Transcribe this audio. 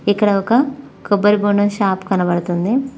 ఇక్కడ ఒక కొబ్బరి బొండం షాప్ కనబడుతుంది.